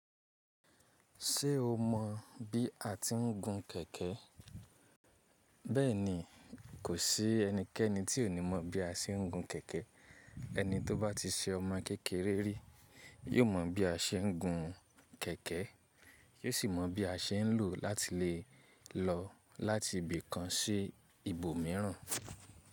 Ṣé o mọ bí a ti ń gun kẹ̀kẹ́? Bẹ́ẹ̀ ni, kò sí ẹnikẹ́ni tí ò ní mọ̀ bí a ṣe ń gun kẹ̀kẹ́. Ẹni tó bá ti ṣe ọmọ kékeré rí, yó mọ̀ bí a ṣe ń gun kẹ̀kẹ́, yó sì mọ bí a ṣe ń lòó láti lè lọ láti ibì kan sí ibòmíràn.